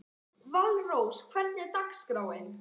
Valrós, hvernig er dagskráin?